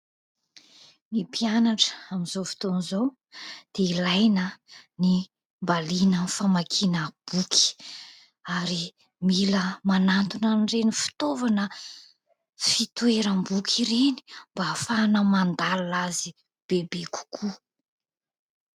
Ny mpianatra amin'izao fotoana izao dia ilaina ny mba liana amin'ny famakiana boky. Ary mila manantona ireny fitaovana fitoeram-boky ireny, mba ahafahana mandalina azy bebe kokoa.